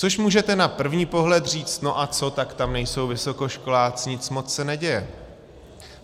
Což můžete na první pohled říct no a co, tak tam nejsou vysokoškoláci, nic moc se neděje.